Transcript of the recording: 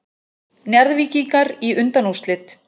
Njarðvíkingar í undanúrslit